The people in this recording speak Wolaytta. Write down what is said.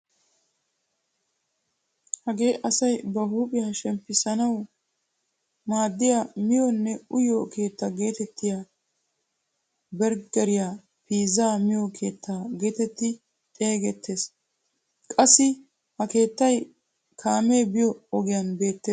Hagee asay ba huuphphiyaa shemppisanawu maaddiyaa miyoonne uyiyoo keettaa getettiyaa berggeriyaa piizzaa miyoo keettaa getetti xeegettees. qassi ha keettay kaamee biyoo ogiyan beettees.